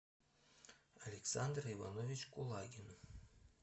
александр иванович кулагин